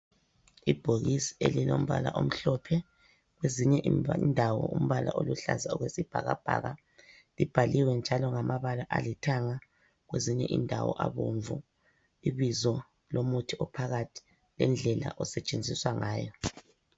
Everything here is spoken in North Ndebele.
Ibhokisi elilombala omhlophe ,kwezinye indawo umbala oluhlaza okwesibhakabhaka .Libhaliwe njalo ngamabala alithanga kwezinye indawo abomvu ,ibizo lomuthi ophakathi lendlela osetshenziswa ngayo.